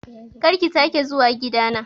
Kar ki sake zuwa gida na